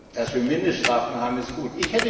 Dass wir Mindeststrafen haben, ist gut.